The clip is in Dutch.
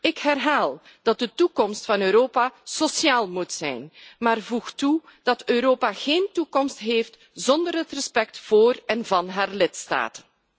Ik herhaal dat de toekomst van Europa sociaal moet zijn, maar voeg eraan toe dat Europa geen toekomst heeft zonder het respect voor en van zijn lidstaten.